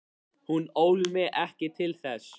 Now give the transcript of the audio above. Hún ól mig ekki til þess.